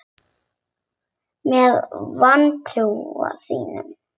Með vantrú þína.